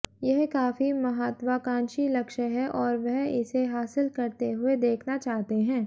यह काफी महात्वाकांक्षी लक्ष्य है और वह इसे हासिल करते हुए देखना चाहते हैं